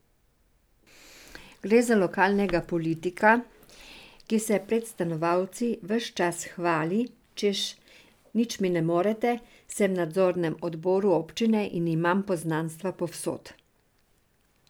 Gre za lokalnega politika, ki se pred stanovalci ves čas hvali, češ, nič mi ne morete, sem v nadzornem odboru občine in imam poznanstva povsod.